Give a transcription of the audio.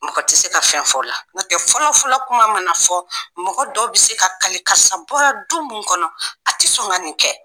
Mɔgɔ tɛ se ka fɛn fɔ o la, ɲɔtɛ fɔlɔfɔlɔla kuma mana fɔ, mɔgɔ dɔ bɛ se ka kali karisa bɔla du min kɔnɔ, a tɛ sɔn ka nin kɛ!